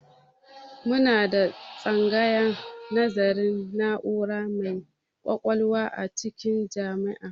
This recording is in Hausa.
Muna da tsangayar nazarin na'ura mai ƙwaƙwalwa a cikin jami'a